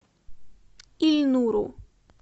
ильнуру